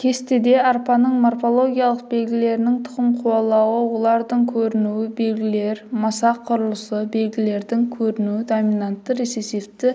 кесте арпаның морфологиялық белгілерінің тұқым қуалауы олардың көрінуі белгілер масақ құрылысы белгілердің көрінуі доминантты рецессивті